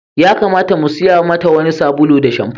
Ya kamata mu siya mata wani sabulu da shamfo.